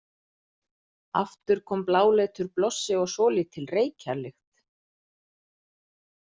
Aftur kom bláleitur blossi og svolítil reykjarlykt.